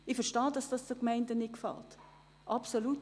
Ich verstehe absolut, dass sich die Gemeinden darüber nicht freuen.